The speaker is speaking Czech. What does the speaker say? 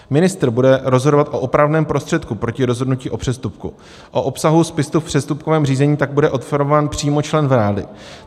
Ministr bude rozhodovat o opravném prostředku proti rozhodnutí o přestupku, o obsahu spisu v přestupkovém řízení tak bude informován přímo člen vlády.